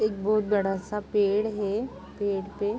एक बोत बड़ा-सा पेड़ है। पेड़ पे --